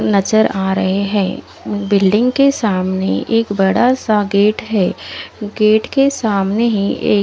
नजर आ रहे हैं बिल्डिंग के सामने एक बड़ासा गेट है गेट के सामने ही एक--